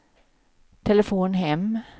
telefon hem